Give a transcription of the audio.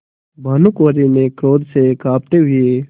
भानुकुँवरि ने क्रोध से कॉँपते हुए